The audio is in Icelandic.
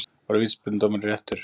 Var vítaspyrnudómurinn réttur?